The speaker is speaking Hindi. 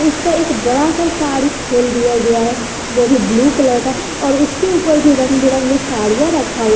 उसपे एक बड़ा सा साड़ी खोल दिया गया है ओ भी ब्लू कलर का और उसके ऊपर भी रंग बिरंगे साड़ियां रखा हुआ--